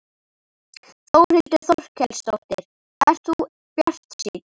Þórhildur Þorkelsdóttir: Ert þú bjartsýnn?